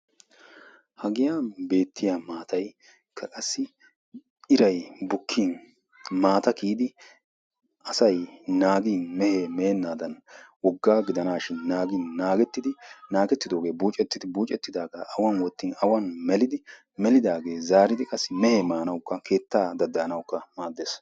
Ha giyan beettiya maataykka qassi irayi bukkin maata kiyidi asayi naagi mehee meennaadan wogaa gidanaashin naagi naagettidoogee buucettidi buucettidaagaa awan wottin awan melidi melidaagee zaaridi qassi mehee maanawukka keettaa daddayanawukka maaddes.